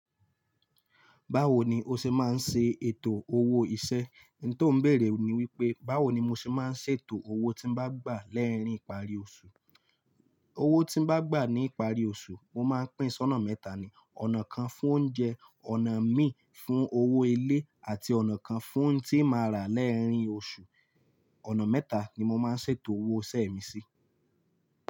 Báwo ni o ṣe máa ń ṣe ètò owó iṣẹ́? Ní tó ń bèèrè ni wípé, báwo ni mo ṣe máa ń ṣètò owó tí n bá gbà lẹ́rin ìparí oṣù? Owó tí ń bá gbà ní ìparí oṣù, mo máa ń pín sí ọ̀nà mẹ́ta ni. Ọ̀nà kan fún oúnjẹ, ọ̀nà mí fún owó ilé, àti ọ̀nà kan fún n tí máa rà lerìn oṣù. Ọ̀nà mẹ́ta ni mo máa ń ṣètò owó iṣẹ́ mi sí.